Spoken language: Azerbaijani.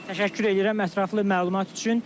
Təşəkkür edirəm ətraflı məlumat üçün.